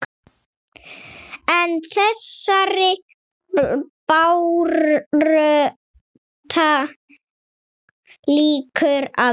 En þessari baráttu lýkur aldrei.